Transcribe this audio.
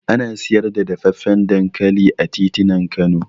Ana siyar da dafaffen dankali a titunan Kano